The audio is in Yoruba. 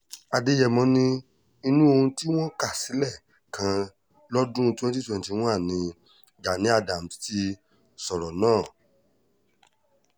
àdèyẹ̀mọ́ ní inú ohun tí wọ́n kà sílẹ̀ kan lọ́dún twenty twenty one ni gani adams ti sọ̀rọ̀ náà